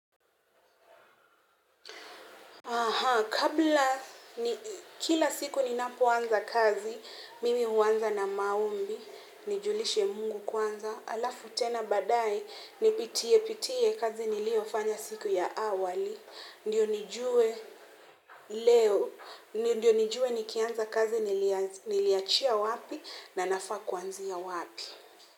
Aha, kabla kila siku ninapoanza kazi, mimi huanza na maombi, nijulishe Mungu kwanza, halafu tena baadaye nipitie pitie kazi niliyofanya siku ya awali, ndiyo nijue leo, ndiyo nijue nikianza kazi niliachia wapi na nafaa kuanzia wapi.